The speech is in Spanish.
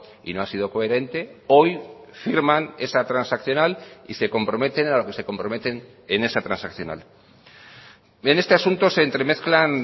y no ha sido coherente hoy firman esa transaccional y se comprometen a lo que se comprometen en esa transaccional en este asunto se entremezclan